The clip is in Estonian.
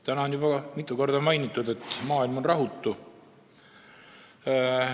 Täna on juba mitu korda mainitud, et maailm on rahutu.